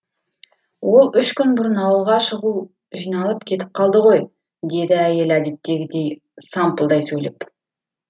ол үш күн бұрын ауылға шұғыл жиналып кетіп қалды ғой деді әйелі әдеттегідей сампылдай сөйлеп